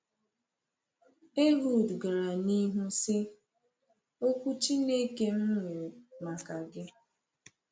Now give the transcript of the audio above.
Ehud gara n’ihu sị: “Okwu Chineke m nwere maka gị.”